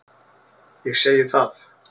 Ég segi það.